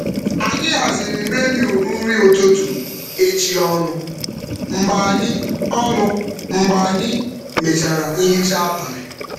Anyị haziri menu nri ụtụtụ echi ọnụ mgbe anyị um mechara nhicha abalị.